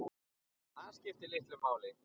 Það skipti litlu máli.